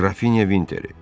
Qrafinya Vinteri.